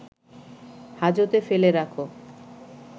হাজতে ফেলে রাখো